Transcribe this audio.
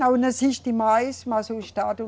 Não existe mais, mas o Estado